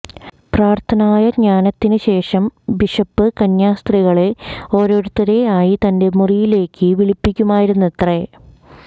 പ്രാര്ത്ഥനായജ്ഞനത്തിന് ശേഷം ബിഷപ്പ് കന്യാസ്ത്രീകളെ ഓരോരുത്തരെ ആയി തന്റെ മുറിയിലേക്ക് വിളിപ്പിക്കുമായിരുന്നത്രെ